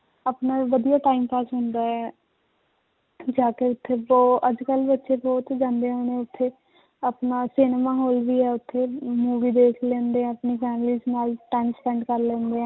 ਆਪਣਾ ਵਧੀਆ time pass ਹੁੰਦਾ ਹੈ ਜਾ ਕੇ ਉੱਥੇ ਅੱਜ ਕੱਲ੍ਹ ਵੀ ਉੱਥੇ ਬਹੁਤ ਜਾਂਦੇ ਹੁਣ ਉੱਥੇ ਆਪਣਾ ਸਿਨੇਮਾ ਹਾਲ ਵੀ ਹੈ ਉੱਥੇ movie ਦੇਖ ਲੈਂਦੇ ਹੈ ਆਪਣੀ families ਨਾਲ time spent ਕਰ ਲੈਂਦੇ ਹੈ